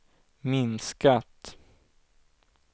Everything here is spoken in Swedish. minskat